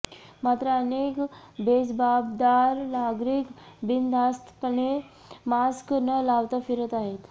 मात्र अनेक बेजबाबदार नागरिक बिनधास्तपणे मास्क न लावता फिरत आहेत